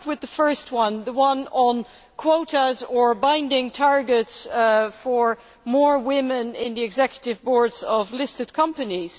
I will start with the first one the one on quotas or binding targets for more women on the executive boards of listed companies.